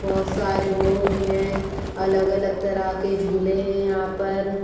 बहोत सारे लोग हैं अलग-अलग तरहा के झूले है यहाँ पर।